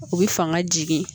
U bɛ fanga jigin